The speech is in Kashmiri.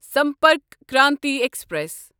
سمپرک کرانتی ایکسپریس